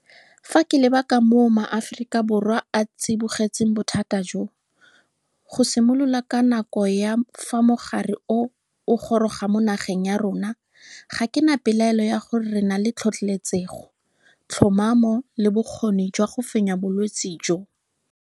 Fa ke leba ka moo Maaforika Borwa a tsibogetseng bothata jo, go simolola ka nako ya fa mogare o o goroga mo nageng ya rona, ga ke na pelaelo ya gore re na le tlhotlheletsego, tlhomamo le bokgoni jwa go fenya bolwetse jo.